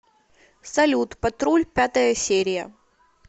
салют патруль пятая серия